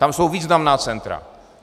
Tam jsou významná centra.